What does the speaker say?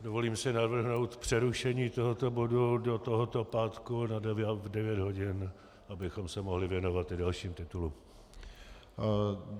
dovolím si navrhnout přerušení tohoto bodu do tohoto pátku v 9 hodin, abychom se mohli věnovat i dalším titulům.